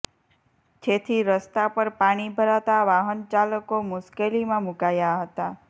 જેથી રસ્તા પર પાણી ભરાતા વાહનચાલકો મુશ્કેલીમાં મુકાયા હતા